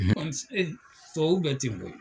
Tubabu bɛ ten koyi!